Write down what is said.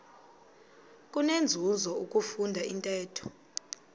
kunenzuzo ukufunda intetho